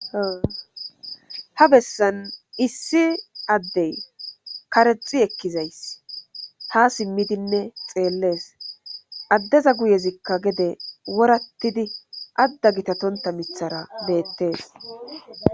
Ha bessan issi addey karexi ekkizays ha simmidinne xeellees addeza guyezikka gede worattidi adda gitatonta mithara beettees.